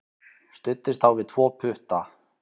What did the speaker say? Studdist þá við tvo putta.